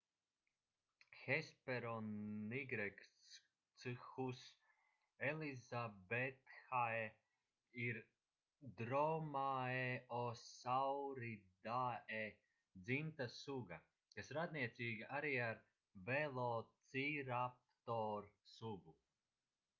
hesperonychus elizabethae ir dromaeosauridae dzimtas suga kas radniecīga arī ar velociraptor sugu